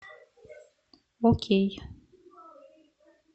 окей